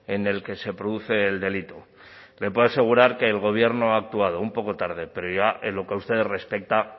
en el que se produce el delito le puedo asegurar que el gobierno ha actuado un poco tarde pero en lo que a ustedes respecta